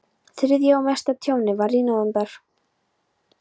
Þriðja og mesta tjónið varð í nóvember.